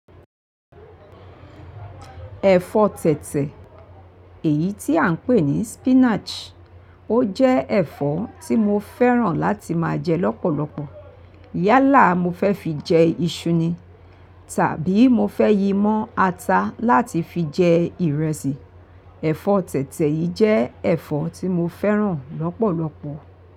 Ẹ̀fọ́ tẹ̀tẹ̀ èyí tí à ń pè ní spinach, ó jẹ́ ẹ̀fọ́ tí mo fẹ́ràn láti máa jẹ lọ́pọ̀lọpọ̀. Yálà mo fẹ́ fi jẹ iṣu ni, tàbí mo fẹ́ yí mọ́ ata láti fi jẹ ìrẹsì. Ẹ̀fọ́ tẹ̀tẹ̀ yìí jẹ́ ẹ̀fọ́ tí mo fẹ́ràn lọ́pọ̀lọpọ̀